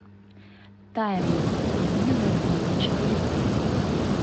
таймлесс рубиновая книга четыре ка